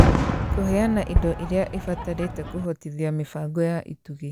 Kũheana indo irĩa ibatarĩte kũhotithia mĩbango ya itugĩ